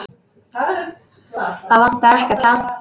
Það vantar ekkert, ha?